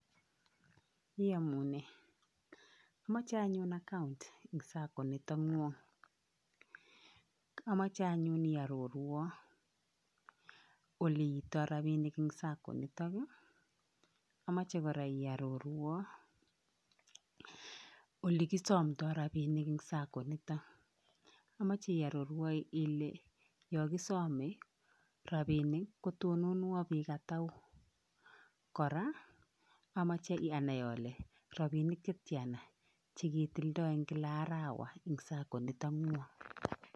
Iomunee omoche anyun akount en sacco nikon ngwony omoche anyun iororwon ole itoo rabishen en sacco initon, omoche koraa iororwon ole kosomto rabinik en sacco initon omoche ororuon ile yon kosome rabinik kotononuon bik ataku, koraa omoche anaoi ole rabinik chetiana cheketilto en kila arawa en sacco initon ngwony.